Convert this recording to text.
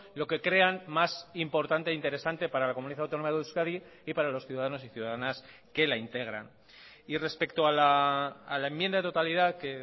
lo que crean más importante interesante para la comunidad autónoma de euskadi y para los ciudadanos y ciudadanas que la integran y respecto a la enmienda de totalidad que